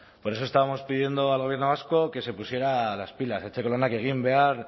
por eso estábamos pidiendo al gobierno vasco que se pusiera las pilas etxeko lanak egin behar